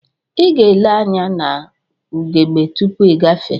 Iga ele anya na ugegbe tupu igafee.